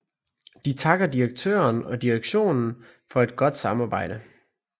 De takker direktøren og direktionen for et godt samarbejde